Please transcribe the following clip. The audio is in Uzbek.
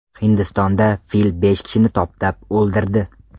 Hindistonda fil besh kishini toptab o‘ldirdi.